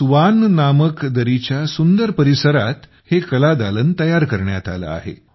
Swan नामक दरीच्या सुंदर परिसरात हे कलादालन तयार करण्यात आले आहे